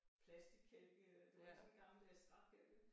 Plastickælke det var ikke sådan en gammeldags trækælk